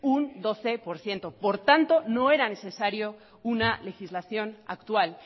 un doce por ciento por tanto no era necesario una legislación actual